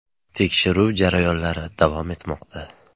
Tekshiruv jarayonlari davom etmoqda.